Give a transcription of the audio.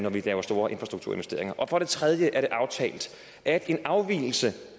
vi laver store infrastrukturinvesteringer og for det tredje er det aftalt at en afvigelse